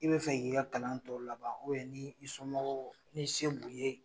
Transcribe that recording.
I be fɛ k'i ka kalan tɔ laban ni i somɔgɔw ni se b'u ye